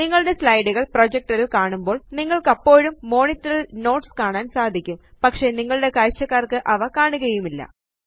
നിങ്ങളുടെ സ്ലൈഡ് കള് പ്രൊജക്ടർ ല് കാണുമ്പോള് നിങ്ങള്ക്കപ്പോഴും മോണിറ്ററില് നോട്ട്സ് കാണാന് സാധിക്കും പക്ഷെ നിങ്ങളുടെ കാഴ്ചക്കാര്ക്ക് അവ കാണുകയുമില്ല